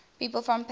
people from patna